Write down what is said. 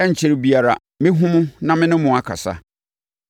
Ɛrenkyɛre biara mɛhunu mo na me ne mo akasa.